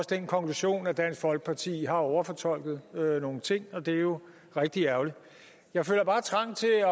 den konklusion at dansk folkeparti har overfortolket nogle ting og det er jo rigtig ærgerligt jeg føler bare trang til at